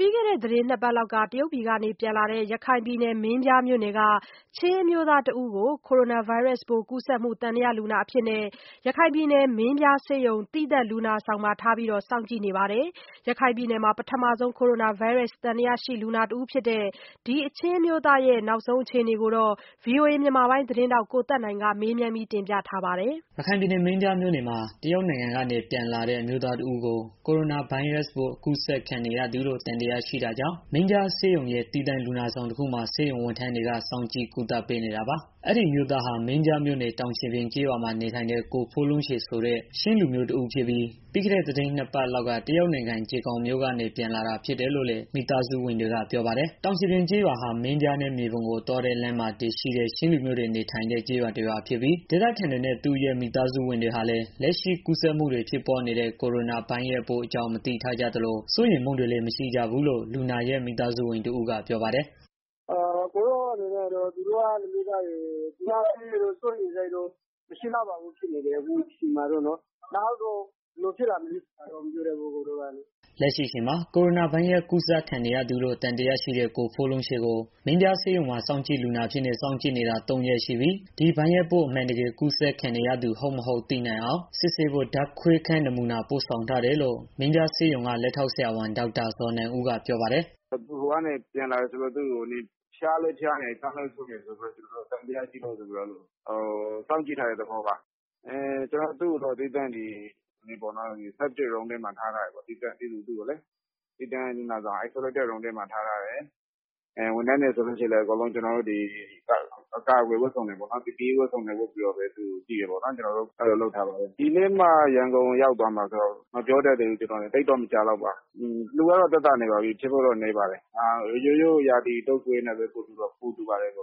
ပြီးခဲ့တဲ့ နှစ်ပတ်လောက်က တရုတ်ပြည်က ပြန်လာတဲ့ ရခိုင်ပြည်နယ် မင်းပြားမြို့နယ်က ချင်းအမျိုးသား တဦးကို ကိုရိုနာဗိုင်းရပ်စ်ပိုး ကူးစက်မှု သံသယ လူနာအဖြစ် မင်းပြားဆေးရုံ သီးသန့်လူနာဆောင်မှာ ထားပြီး စောင့်ကြည့်နေပါတယ်။ ရခိုင်ပြည်နယ်မှာ ပထမဆုံး ကိုရိုနာဗိုင်းရပ်စ် သံသယရှိလူနာ တဦး ဖြစ်တဲ့ ဒီချင်းအမျိုးသားရဲ့ လက်ရှိအခြေအနေကို ဗွီအိုအေ မြန်မာပိုင်းသတင်းထောက် ကိုသက်နိုင်က မေးမြန်းတင်ပြထားပါတယ်။ ရခိုင်ပြည်နယ် မင်းပြားမြို့နယ်မှာ တရုတ်နိုင်ငံကနေ ပြန်လာတဲ့ အမျိုးသားတဦးကို ကိုရိုနာဗိုင်းရပ်စ်ပိုး အကူးစက်ခံရသူလို့ သံသယရှိတာကြောင့် မင်းပြားဆေးရုံရဲ့ သီးသန့်လူနာဆောင် တခုမှာ ဆေးဝန်ထမ်းတွေက စောင့်ကြည့် ကုသပေးနေတာပါ။ အဲဒီအမျိုးသားဟာ မင်းပြားမြို့နယ် တောင်ရှည်ပြင်ကျေးရွာမှာ နေထိုင်တဲ့ ကိုဖိုးလုံးချေဆိုတဲ့ ချင်းလူမျိုး တဦးဖြစ်ပြီး ပြီးခဲ့တဲ့ သီတင်းနှစ်ပတ်လောက်က တရုတ်နိုင်ငံ ဂျယ်ခေါင်မြို့က ပြန်လာတာ ဖြစ်တယ်လို့လည်း သူ့မိသားစုဝင်တွေက ပြောပါတယ်။ တောင်ရှည်ပြင်ကျေးရွာဟာ မင်းပြားနဲ့ မြေပုံကို သွားတဲ့လမ်းမှာ တည်ရှိတဲ့ ချင်းလူမျိုးတွေ နေထိုင်တဲ့ ကျေးရွာ တရွာဖြစ်ပြီး ဒေသခံတွေနဲ့ သူ့ရဲ့ မိသားစုဝင်တွေဟာလည်း လက်ရှိကူးစက်မှုတွေ ဖြစ်ပွားနေတဲ့ ကိုရိုနာ ဗိုင်းရပ်စ်ပိုးအကြောင်း မသိထားကြသလို စိုးရိမ်မှုတွေလည်း မရှိကြဘူးလို့ လူနာရဲ့ မိသားစုဝင် တဦးက ပြောပါတယ်။ “သူတို့က လက်ရှိအချိန်မှာတော့ စိုးရိမ်စိတ်တော့ မရှိကြဘူး ဖြစ်နေတယ်။ နောက်ဆိုရင်တော့ မပြောတတ်ဘူး။” လက်ရှိအချိန်မှာ ကိုရိုနာဗိုင်းရပ်စ် ကူးစက်ခံရသူလို့ သံသယရှိတဲ့ ကိုဖိုးလုံးချေကို မင်းပြားဆေးရုံမှာ စောင့်ကြည့်လူနာအဖြစ်နဲ့ စောင့်ကြည့်နေတာ ၃ ရက် ရှိပြီး ဒီဗိုင်းရပ်စ် ပိုး အမှန်တကယ် အကူးစက်ခံနေရသူ ဟုတ်၊ မဟုတ် သိနိုင်အောင် စစ်ဆေးဖို့ ဓါတ်ခွဲခန်း နမှုနာ ပို့ဆောင်ထားတယ်လို့ မင်းပြေားဆေးရုံက လက်ထောက်ဆရာဝန် ဒေါက်တာ ဇော်နိုင်ဦးက ပြောပါတယ်။ “သူက တရုတ်ကနေ ပြန်လာတာဆိုတော့ ဖျားလည်း ဖျားတယ်ဆိုတော့ ကျနော်တို့က သူ့ကို စောင့်ကြည့်ထားတဲ့ သဘောပါ။ ကျနော်တို့ သူ့ကိုတော့ သီးသန့် လူနာဆောင် တခုမှာ ထားထားတယ်။ ဝန်ထမ်းတွေဆိုရင်လည်း ကျနော်တို့ အားလုံး အကာကွယ်ဝတ်စုံတွေ ဝတ်ပြီးတော့ပဲ သူ့ကို ကြည့်တယ်။ အဲ့လို လုပ်ထားပါတယ်။ စစ်ဆေးဖို့တော့ ပို့ထားတယ်။ ဒီနေ့မှ ရန်ကုန်ကို ရောက်မှာ ဆိုတော့ မပြောတတ်သေးဘူး။ သိပ်တော့ မကြာလောက်ပါဘူး သိရမှာပါ။ လူနာကတော့ သက်သာပါတယ်။ ဖြစ်ဖို့တော့ နည်းပါတယ်။ ရိုးရိုးရာသီ တုန်ကွေးနဲ့ပဲ ပိုတူပါတယ်။”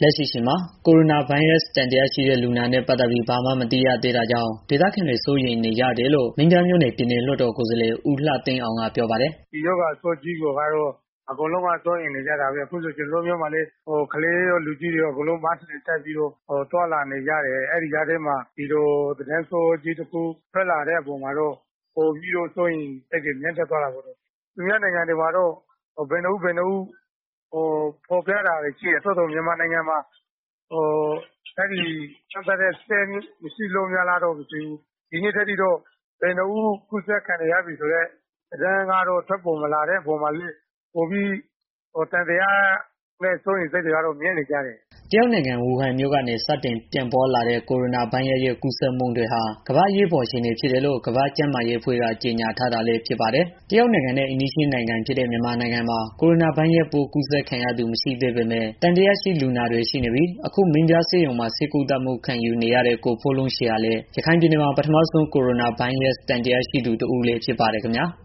လက်ရှိအချိန်မှာ ကိုရိုနာဗိုင်းရပ်စ် သံသယရှိတဲ့ လူနာနဲ့ ပတ်သတ်ပြီး ဘာမှမသိရသေးတာကြောင့် ဒေသခံတွေ စိုးရိမ်နေကြတယ်လို့ မင်းပြားမြို့နယ် ပြည်နယ်လွတ်တော်ကိုယ်စားလှယ် ဦးလှသိန်းအောင်က ပြောပါတယ်။ “ဒီရောဂါဆိုးကြီးကိုတော့ အကုန်လုံးကတော့ စိုးရိမ်နေကြတာပဲ။ အခုဆို ကျနော်တို့ မြို့မှာလည်း ကလေးရော လူကြီးရော အကုန်လုံး Mask တွေတပ်ပြီး သွားနေကြတယ်။ အဲဒီကြားထဲမှာ ဒီလို သတင်းဆိုးတခု ထွက်လာတဲ့ အပေါ်မှာတော့ ပိုပြီးတော့ စိုးရိမ်စိတ်တွေ မြင့်တက်သွားတာပေါ့လေ။ သူများနိုင်ငံမှာတော့ ကူးစက်ခံရသူ ဘယ်နှစ်ဦး ဘယ်နှစ်ဦးဆိုပြီးတော့ ဖော်ပြတာတွေ ရှိတယ်။ သို့သော်လည်း မြန်မာနိုင်ငံမှာ အဲတာနဲ့ ပတ်သတ်ပြီး စမ်းသပ်ဖို့ စက်မရှိတာလားတော့ မပြောတတ်ဘူး။ ဒီနေ့အထိကတော့ ဘယ်နှစ်ဦး ကူးစက်ခံနေပြီဆိုတဲ့ သတင်း ထွက်ပေါ်မလာတဲ့ အပေါ်မှာလည်း ပိုပြီးတော့ သံသယနဲ့ စိုးရိမ်စိတ်တွေကတော့ မြင့်နေကြတယ်။” တရုတ်နိုင်ငံ ဝူဟန်မြို့ကနေ စတင်ပြန့်ပွားလာတဲ့ ကိုရိုနာဗိုင်းရပ်စ်ရဲ့ ကူးစက်မှုတွေဟာ ကမ္ဘာ့အရေးပေါ် အခြေအနေဖြစ်တယ်လို့ ကမ္ဘာ့ကျန်းမာရေးအဖွဲ့ က ကြေညာထားတာလည်း ဖြစ်ပါတယ်။ တရုတ်နိုင်ငံနဲ့ အိမ်နီးချင်းနိုင်ငံဖြစ်တဲ့ မြန်မာနိုင်ငံမှာ ကိုရိုနာဗိုင်းရပ်စ် ကူးစက်ခံရသူ မရှိသေးပေမယ့် သံသယရှိ လူနာတွေ ရှိနေပြီး အခု မင်းပြားဆေးရုံမှာ ဆေးကုသမှု ခံယူနေရတဲ့ ကိုဖိုးလုံးချေဟာလည်း ရခိုင်ပြည်နယ်မှာ ပထမဆုံး ကိုရိုနာဗိုင်းရပ်စ် သံသယရှိသူ တဦးလည်း ဖြစ်ပါတယ် ခင်ဗျာ။